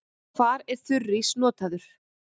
Hvar er þurrís notaður?